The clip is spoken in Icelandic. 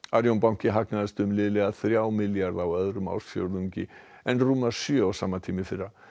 Arion banki hagnaðist um liðlega þrjá milljarða á öðrum ársfjórðungi en rúma sjö á sama tíma í fyrra